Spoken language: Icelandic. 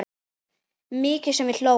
Mikið sem við hlógum.